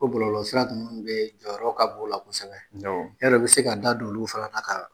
O bɔlɔlɔ sira ninnu bɛɛ jɔyɔrɔ ka bon u la kosɛbɛ , yala i bi se ka da don olu fana na ka